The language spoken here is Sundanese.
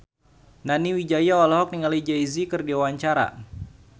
Nani Wijaya olohok ningali Jay Z keur diwawancara